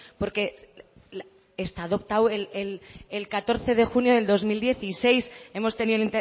porque está adoptado el catorce de junio del dos mil dieciséis hemos tenido